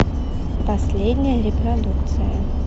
последняя репродукция